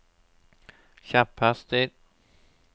kjepphester